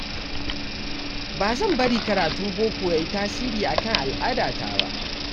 Ba zan bari karatun boko ya yi tasiri akan al'adata ba.